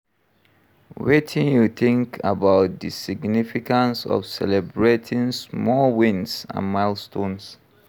Wetin you think about di significance of celebrating small wins and milestones?